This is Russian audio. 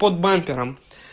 под бампером